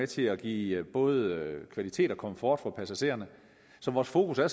til at give både kvalitet og komfort for passagererne så vores fokus er